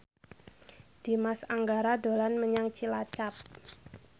Dimas Anggara dolan menyang Cilacap